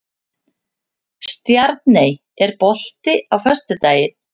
Stjarney, er bolti á föstudaginn?